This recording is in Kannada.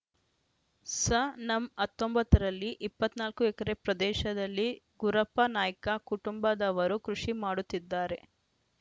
ಸನಂ ಹತ್ತೊಂಬತ್ತ ರಲ್ಲಿ ಇಪ್ಪತ್ತ್ ನಾಲ್ಕು ಎಕರೆ ಪ್ರದೇಶದಲ್ಲಿ ಗುರಪ್ಪ ನಾಯ್ಕ ಕುಟುಂಬದವರು ಕೃಷಿ ಮಾಡುತ್ತಿದ್ದಾರೆ